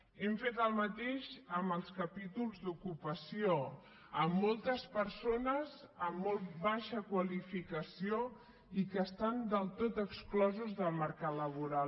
hem fet el mateix amb els capítols d’ocupació amb moltes persones amb molt baixa qualificació i que estan del tot exclosos del mercat laboral